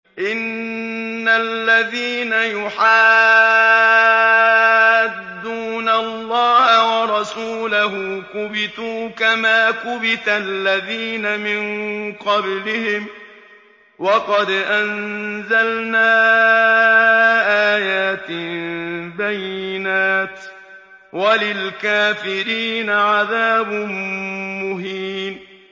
إِنَّ الَّذِينَ يُحَادُّونَ اللَّهَ وَرَسُولَهُ كُبِتُوا كَمَا كُبِتَ الَّذِينَ مِن قَبْلِهِمْ ۚ وَقَدْ أَنزَلْنَا آيَاتٍ بَيِّنَاتٍ ۚ وَلِلْكَافِرِينَ عَذَابٌ مُّهِينٌ